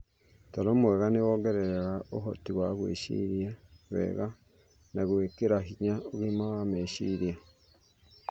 Toro mwega nĩ wongereraga ũhoti wa gwĩciria wega na gwĩkĩra hinya ũgima wa meciria.